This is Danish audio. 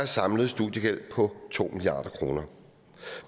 samlet studiegæld på to milliard kroner